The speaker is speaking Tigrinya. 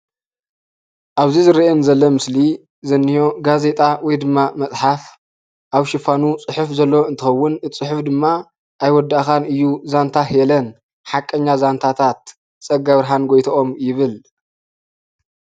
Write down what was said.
አብዚ ዝርአየኒ ዘሎ ምስሊ ዝንኦ ጋዜጣ ወይ ድማ መፅሓፍ አብ ሽፋኑ ፅሑፍ ዘለዎ እንትኸውን፤ እቲ ፅሑፈ ድማ “አይወዳእካን እዩ ዛንታ ሄለን ሓቀኛ ዛንታታት ፀጋብርሃን ጎይትኦም” ይብል፡፡